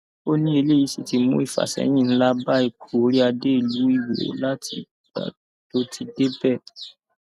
ó ní eléyìí sì ti mú ìfàsẹyìn ńlá bá ipò oríadé ìlú iwọ látìgbà tó ti débẹ